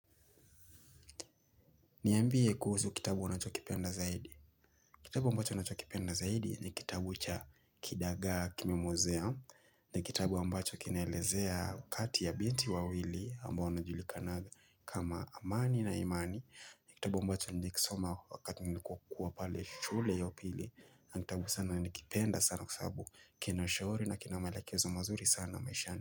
Niambie kuhusu kitabu unachokipenda zaidi. Kitabu ambacho nachokipenda zaidi ni kitabu cha kidagaa kimemwozea ni kitabu ambacho kineelezea wakati ya binti wawili ambao wanajulikanaga kama amani na imani ni kitabu ambacho nilikisoma wakati nilikokuwa pale shule ya upili na kitabu sana nakipenda sana kwa sababu kinaushauri na kinamalekezo mazuri sana maishani.